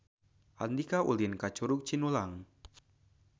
Andika ulin ka Curug Cinulang